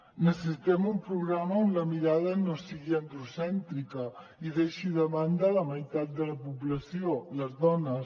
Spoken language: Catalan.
necessitem un programa on la mirada no sigui androcèntrica i deixi de banda la meitat de la població les dones